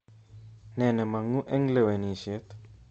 Nee nemongu eng lewenishet